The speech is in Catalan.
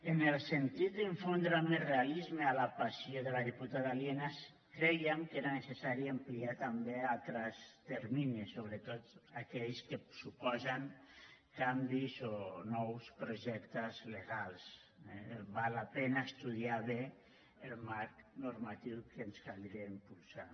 en el sentit d’infondre més realisme a la passió de la diputada lienas crèiem que era necessari ampliar també altres terminis sobretot aquells que suposen canvis o nous projectes legals eh val la pena estudiar bé el marc normatiu que ens caldria impulsar